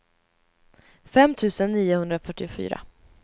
fem tusen niohundrafyrtiofyra